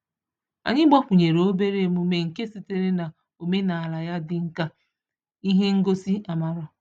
Anyị gbakwunyere obere emume nke sitere n'omenaala ya dị nkà ihe ngosị amara.